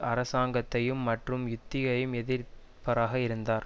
அரசாங்கத்தையும் மற்றும் யுத்தியையும் எதிர்ப்பராக இருந்தார்